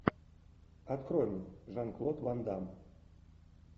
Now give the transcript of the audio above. открой мне жан клод ван дамм